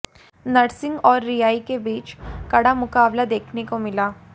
नरसिंह और रियाई के बीच कड़ा मुकाबला देखने को मिला